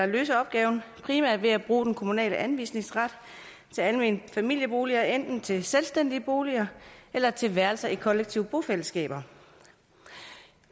løse opgaven primært ved at bruge den kommunale anvisningsret til almene familieboliger enten til selvstændige boliger eller til værelser i kollektive bofællesskaber